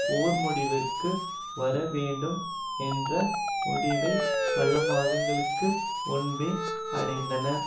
போர் முடிவிற்கு வரவேண்டும் என்ற முடிவை பல மாதங்களுக்கு முன்பே அடைந்தனர்